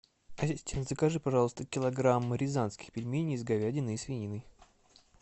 ассистент закажи пожалуйста килограмм рязанских пельменей с говядиной и свининой